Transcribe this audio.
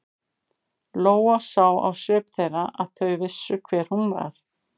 Lóa sá á svip þeirra að þau vissu hver hún var.